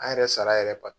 An yɛrɛ sara yɛrɛ ba